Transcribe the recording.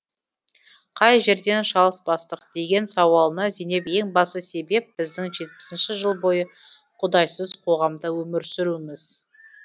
қай жерден шалыс бастық деген сауалына зейнеп ең басты себеп біздің жетпісінші жыл бойы құдайсыз қоғамда өмір сүруіміз